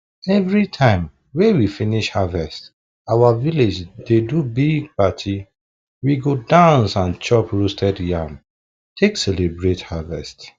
everytime wey we finish harvest our village dey do big party we go dance and chop roasted yam take celebrate harvest